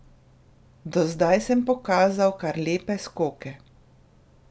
Do zdaj sem pokazal kar lepe skoke.